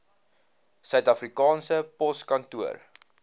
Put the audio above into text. suid afrikaanse poskantoor